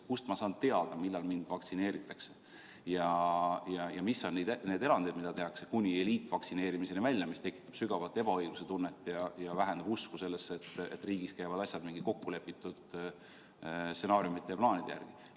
Kust ma saan teada, millal mind vaktsineeritakse, ja mis on need erandid, mida tehakse, kuni eliitvaktsineerimiseni välja, mis tekitab sügavat ebaõigluse tunnet ja vähendab usku sellesse, et riigis käivad asjad mingite kokkulepitud stsenaariumite ja plaanide järgi?